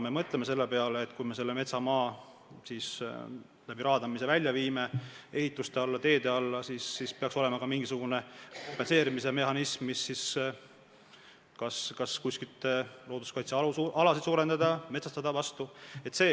Me mõtleme selle peale, et kui me metsamaa raadamisega välja viime – ehituste alla, teede alla –, siis peaks olema ka mingisugune kompensatsioonimehhanism, näiteks võiks kuskilt looduskaitsealasid suurendada, maad metsastada.